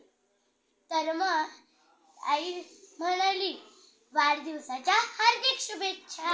तर मग आई म्हणाली वाढदिवसाच्या हार्दिक शुभेच्छा